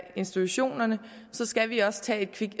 institutionerne skal vi også tage et kig